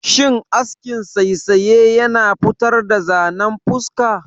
Shin askin saisaye yana futar da zanen fuska?